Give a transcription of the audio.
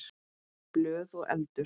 Blöð og eldur.